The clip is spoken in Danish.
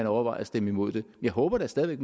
overvejer at stemme imod det jeg håber da stadig at